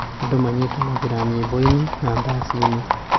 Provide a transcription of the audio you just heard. Andũ manyitanagĩra nyĩmbo-inĩ na ndaci-inĩ.